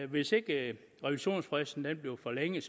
hvis ikke revisionsfristen bliver forlænget